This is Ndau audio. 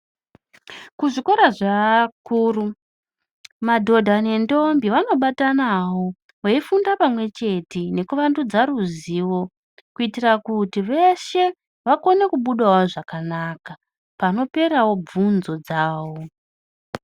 Kuzvikora zveakuru, madhodha nemtombi vanobatanawo veifunda pamwechete veivandudza ruzivo kuitira kuti veshe vakonewo kubuda zvakanaka panoperswo bvunzo dzavo.